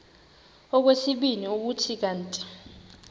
okwesibini kuthi kanti